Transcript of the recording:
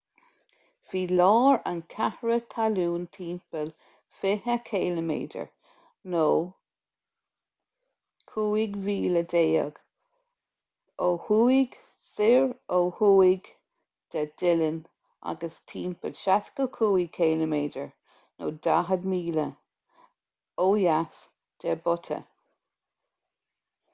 bhí lár an chreatha talún timpeall 20 km 15 mhíle ó thuaidh soir ó thuaidh de dillon agus timpeall 65 km 40 míle ó dheas de butte